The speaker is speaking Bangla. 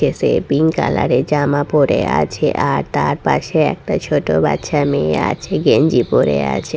সে পিঙ্ক কালার এর জামা পরে আছে আর তার পাশে একটা ছোট বাচ্চা মেয়ে আছে গেঞ্জি পরে আছে।